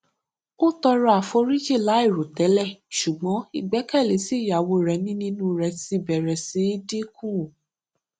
ó tọrọ àforíjì láìròtẹlẹ ṣùgbọn ìgbékèlé tí ìyàwó rè ní nínú rè ti bèrè sí dínkù